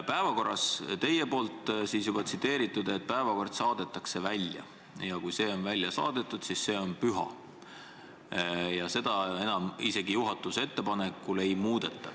Te ütlesite, et päevakord saadetakse välja ja kui see on välja saadetud, siis see on püha ja isegi juhatuse ettepanekul seda enam ei muudeta.